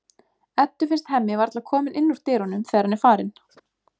Eddu finnst Hemmi varla kominn inn úr dyrunum þegar hann er farinn.